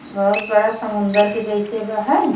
बहुत बड़ा समुंदर के जैसे बा हय।